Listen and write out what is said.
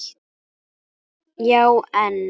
Já en.